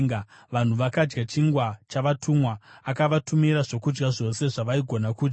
Vanhu vakadya chingwa chavatumwa; akavatumira zvokudya zvose zvavaigona kudya.